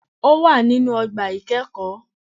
Ó wà nínú ogbà ìkẹ́ẹ̀kóó